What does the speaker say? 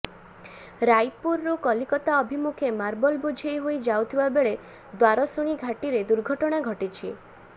ରାଇପୁର ରୁ କଲିକତା ଅଭିମୁଖେ ମାର୍ବଲ ବୋଝେଇ ହୋଇ ଯାଉଥିବା ବେଳେ ଦ୍ୱାରଶୁଣି ଘାଟିରେ ଦୁର୍ଘଟଣା ଘଟିଛି